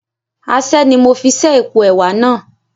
Aṣẹ́ ni mo fi ṣẹ́ èpo ẹwà náà